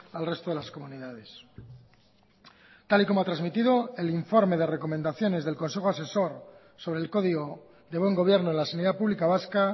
al resto de las comunidades tal y como ha transmitido el informe de recomendaciones del consejo asesor sobre el código de buen gobierno en la sanidad pública vasca